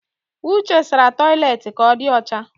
Uche sara toilet ka ọ di ọcha